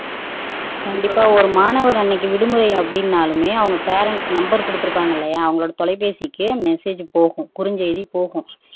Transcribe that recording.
கண்டிப்பா ஒரு மாணவர் அன்னைக்கு விடுமுறை அப்படின்னாலுமே அவங்க பேரன்ட்ஸ் நம்பர் குடுத்துருப்பாங்க இல்லையா அவங்க தொலைபேசிக்கு மெசேஜ் போகும் குறுஞ்செய்தி போகும்